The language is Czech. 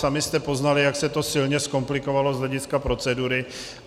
Sami jste poznali, jak se to silně zkomplikovalo z hlediska procedury.